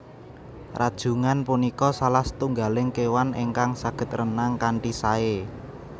Rajungan punika salah setunggaling kewan ingkang saged renang kanthi saé